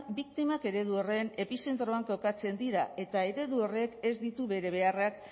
biktimak eredu horren epizentroan kokatzen dira eta eredu horrek ez ditu bere beharrak